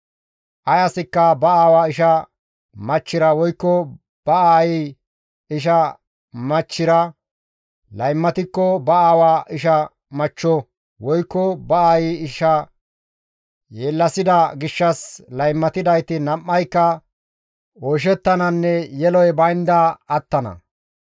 « ‹Ay asikka ba aawa isha machchira woykko ba aayey isha machchira laymatikko ba aawa isha machcho woykko ba aayi isha yeellasida gishshas laymatidayti nam7ayka oyshettananne yeloy baynda attana.